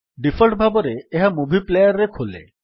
default ଭାବରେ ଏହା movie player ରେ ଖୋଲେ